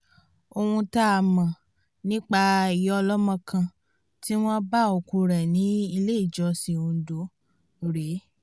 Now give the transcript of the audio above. ohun tá a mọ̀ nípa ìyá ọlọ́mọ kan tí wọ́n bá òkú rẹ̀ nílé ìjọsìn ondo rèé